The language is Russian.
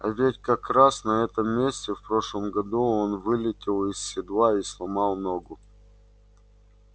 а ведь как раз на этом месте в прошлом году он вылетел из седла и сломал ногу